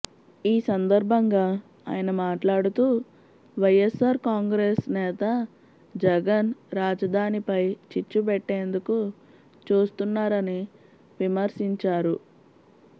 ఈ సందర్భంగా ఆయన మాట్లాడుతూ వైఎస్సార్ కాంగ్రెస్ నేత జగన్ రాజధానిపై చిచ్చు పెట్టేందుకు చూస్తున్నారని విమర్శించారు